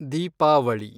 Deepavali